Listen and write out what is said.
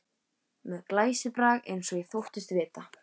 Með glæsibrag eins og ég þóttist vita.